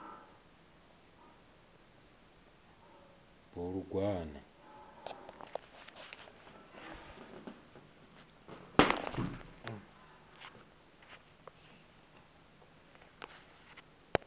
bulugwane